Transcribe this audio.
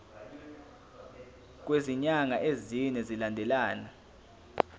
kwezinyanga ezine zilandelana